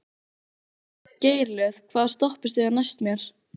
Geirlöð, hvaða stoppistöð er næst mér?